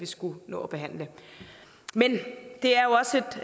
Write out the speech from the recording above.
skullet nå at behandle men det er jo også